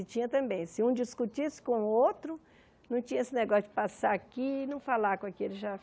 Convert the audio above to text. E tinha também, se um discutisse com o outro, não tinha esse negócio de passar aqui e não falar com aquele já.